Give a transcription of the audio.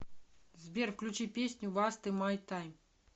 сбер включи песню васте май тайм